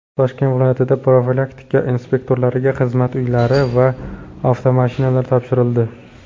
Toshkent viloyatida profilaktika inspektorlariga xizmat uylari va avtomashinalar topshirildi.